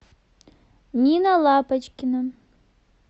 нина лапочкина